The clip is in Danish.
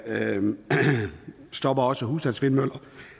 stopper også husstandsvindmøller